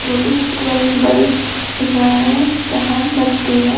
क्योंकि बहुत बरे एक दिख रहा है यहां बस्ती है।